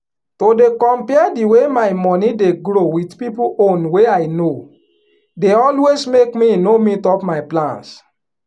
to dey compare di way my money dey grow with people own wey i know dey always make me no meet up my plans